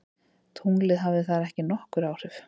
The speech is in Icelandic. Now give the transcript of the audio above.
Tunglið hafði þar ekki nokkur áhrif.